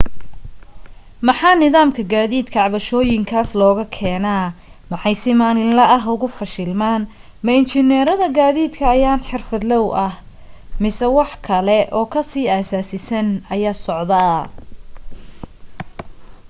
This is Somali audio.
maxaa nidaamka gaadiidka cabashooyinkaas looga keenaa maxay si maalinle ah ugu fashilmaan ma injineerada gaadiidka ayaan xirfadloow ah mise wax kale oo ka sii asaasisan ayaa socda